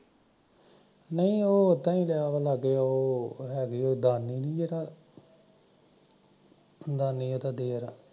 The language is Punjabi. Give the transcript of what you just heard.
ਨਹੀਂ ਉਹ ਐਦਾ ਲੈਜਾ ਉਹ ਹੈਗਾ ਨੀ ਜਿਹ